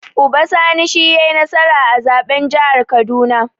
Uba Sani shi yai nasara a zaɓen jihar kaduna